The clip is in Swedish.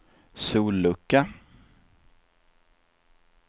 sollucka